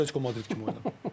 Atletiko Madrid kimi oyna.